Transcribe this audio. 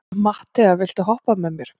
Matthea, viltu hoppa með mér?